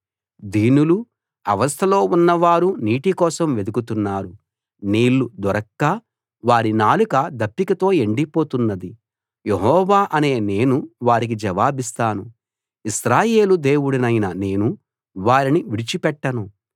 దీనులు అవస్థలో ఉన్నవారు నీటి కోసం వెదుకుతున్నారు నీళ్లు దొరక్క వారి నాలుక దప్పికతో ఎండిపోతున్నది యెహోవా అనే నేను వారికి జవాబిస్తాను ఇశ్రాయేలు దేవుడినైన నేను వారిని విడిచిపెట్టను